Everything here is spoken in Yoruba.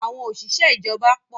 Àwọn òṣìṣẹ́ ìjọba pọ̀.